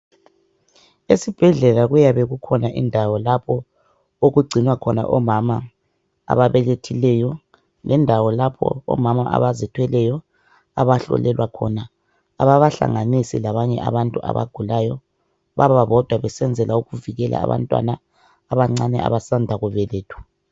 esibhedlela kuyabe kukhona indawo lapho okugcinwa khona omama ababelethileyo lendawo lapho omama abazithweleyo abahlolelwa khona ababahlanganisi labanye abantu abagulayo bababodwa besenzela ukuthi ukuvikela abantwana abancane abasanda kubelethwa